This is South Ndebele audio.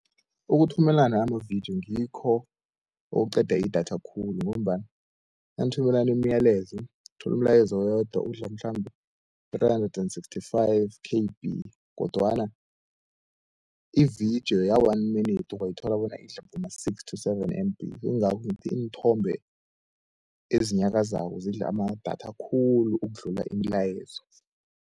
Ukuthumelana amavidiyo ngikho okuqeda idatha khulu, ngombana nanithumelana imiyalezo uthola umlayezo owodwa udla mhlambe three-hundred and sixty-five K_B, kodwana ividiyo ya-one minute ungayithola bona idla boma six to seven M_B. Ingakho ngithi iinthombe ezinyakazako zidla amadatha khulu ukudlula imilayezo.